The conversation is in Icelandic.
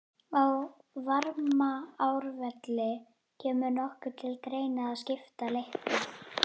Á Varmárvelli Kemur nokkuð til greina að skipta leiknum?